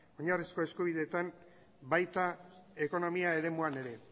oinarrizko eskubideetan baita ekonomia eremuan ere